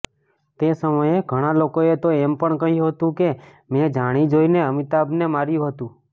તે સમયે ઘણાં લોકોએ તો એમ પણ કહ્યું હતું કે મેં જાણીજોઇને અમિતાભને માર્યું હતું